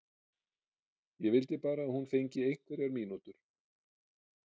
Ég vildi bara að hún fengi einhverjar mínútur.